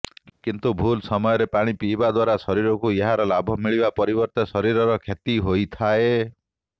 କିନ୍ତୁ ଭୁଲ ସମୟରେ ପାଣି ପିଇବା ଦ୍ୱାରା ଶରୀରକୁ ଏହାର ଲାଭ ମିଳିବା ପରିବର୍ତ୍ତେ ଶରୀରର କ୍ଷତି ହୋଇଥାଏ